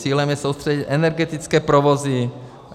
Cílem je soustředit energetické provozy.